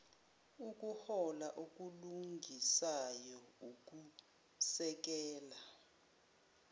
ukuhola okulungisayo ukusekela